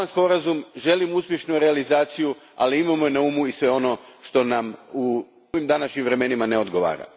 Podržavam sporazum, želim uspješnu realizaciju, ali imajmo na umu i sve ono što nam u današnjim vremenima ne odgovara.